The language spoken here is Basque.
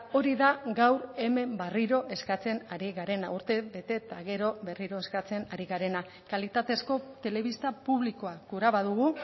hori da gaur hemen berriro eskatzen ari garena urtebete eta gero berriro eskatzen ari garena kalitatezko telebista publikoa gura badugu